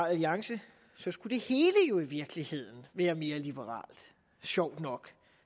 alliance så skulle det hele jo i virkeligheden være mere liberalt sjovt nok